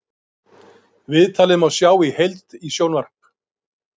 Viðtalið má sjá í heild í sjónvarp